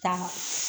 Taa